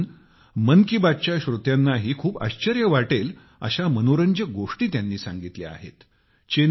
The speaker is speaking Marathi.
ज्या ऐकून मन की बात च्या श्रोत्यांनाही खूप आश्चर्य वाटेल अशा अतिशय मनोरंजक गोष्टी त्यांनी सांगितल्या आहेत